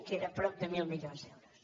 que era prop de mil milions d’euros